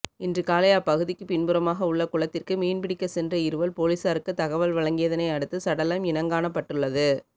இன்று காலை அப்பகுதிக்கு பின்புறமாக உள்ள குளத்திற்கு மீன்பிடிக்க சென்ற இருவர் பொலிசாருக்கு தகவல் வழங்கியதனை அடுத்து சடலம் இனங்காணப்பட்டுள்ளது